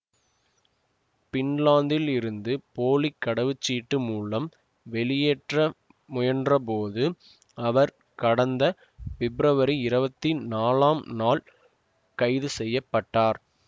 பின்லாந்திலிருந்து போலி கடவுச்ச்சீட்டு மூலம் வெளியேற்ற முயன்றபோது அவர் கடந்த பெப்ரவரி இருவத்தி நாலாம் நாள் கைது செய்ய பட்டார்